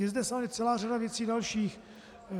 Je zde samozřejmě celá řada věcí dalších.